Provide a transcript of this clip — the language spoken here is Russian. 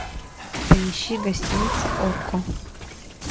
поищи гостиница окко